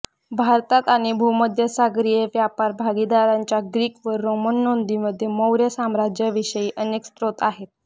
भारतात आणि भूमध्यसागरीय व्यापार भागीदारांच्या ग्रीक व रोमन नोंदींमध्ये मौर्य साम्राज्याविषयी अनेक स्त्रोत आहेत